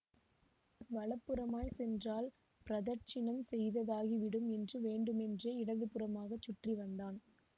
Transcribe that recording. வல புறமாய் சென்றால் பிரதட்சிணம் செய்ததாகி விடும் என்று வேண்டுமென்றே இடதுபுறமாகச் சுற்றி வந்தான்